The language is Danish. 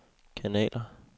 kanaler